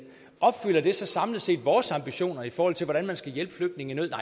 opfylder det så samlet set vores ambitioner i forhold til hvordan man skal hjælpe flygtninge i nød